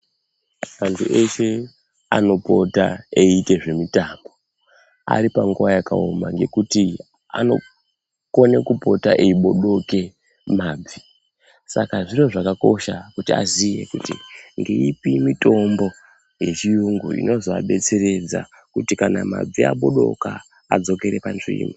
Antu eshe anopota eiite zvemitombo aripanguwa yakaoma ngekuti anokone kupota eibodoke mabvi, saka zviro zvakakosha kuti aziye kuti ngeipi mitombo yechiyungu inozoabetseredza kuti kana mabvi abodoka adzokere panzvimbo.